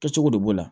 Kɛcogo de b'o la